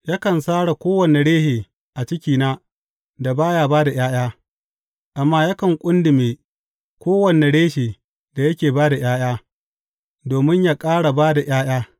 Yakan sare kowane reshe a cikina da ba ya ’ya’ya, amma yakan ƙundume kowane reshe da yake ba da ’ya’ya, domin yă ƙara ba da ’ya’ya.